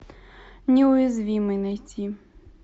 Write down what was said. неуязвимый найти